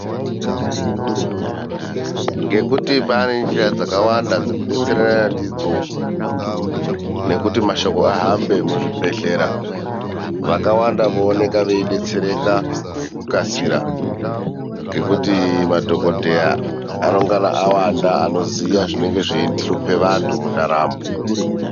Ngekuti pane nzira dzakawanda dzekudetserana ndidzo nekuti mashoko ahambe muzvibhedhlera vakawanda vooneka veidetsereka ngokukasira ngokuti madhokodheya anenge awanda anoziva zvinohlupa vandu mundaramo.